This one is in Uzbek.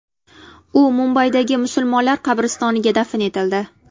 U Mumbaydagi musulmonlar qabristoniga dafn etildi.